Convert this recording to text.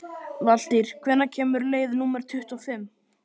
Valtýr, hvenær kemur leið númer tuttugu og fimm?